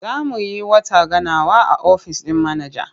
Za mu yi wata ganawa a ofis ɗin manaja.